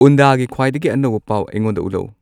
ꯎꯟꯗꯒꯤ ꯈ꯭ꯋꯥꯏꯗꯒꯤ ꯑꯅꯧꯕ ꯄꯥꯎ ꯑꯩꯉꯣꯟꯗ ꯎꯠꯂꯛ ꯎ